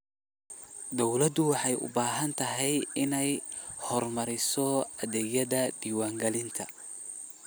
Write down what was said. Dawladdu waxay u baahan tahay inay horumariso adeegyada diiwaangelinta.